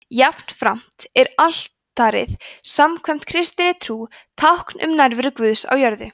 jafnframt er altarið samkvæmt kristinni trú tákn um nærveru guðs á jörðu